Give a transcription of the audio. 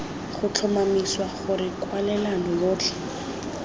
go tlhomamisa gore kwalelano yotlhe